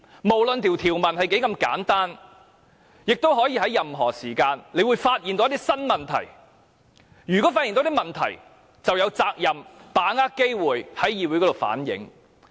無論條文多麼簡單，議員隨時可能會發現一些新問題，如果發現問題，便有責任把握機會在議會反映。